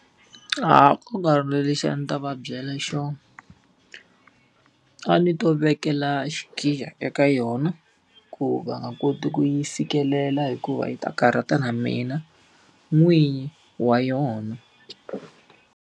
A ku nga ri na lexi a ni ta va byela xona. A ni to vekela xikhiya eka yona, ku va nga koti ku yi fikelela hikuva yi ta karhata na mina n'winyi wa yona.